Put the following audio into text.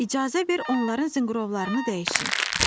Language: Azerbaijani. İcazə ver onların zınqrovlarını dəyişim.”